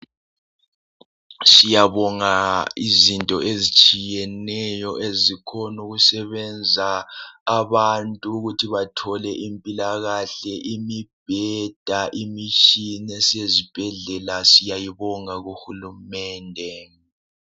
Siyabonga izinto ezitshiyeneyo ezikolo ukusebenza abantu ukuthi bathole impilakahle, imibheda, imitshina esezibhedlela siyayibonga kuhulumende.